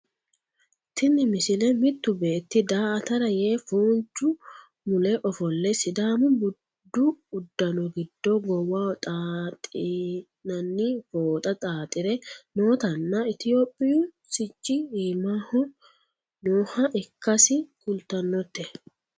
tini misile mittu beetti daa"atara yee foonchu mule ofolle sidaamu budu uddano giddo goowaho xaaxi'nanni fooxa xaaxire nootanna itiyophiyu sicci iimaho nooha ikkasi kultannote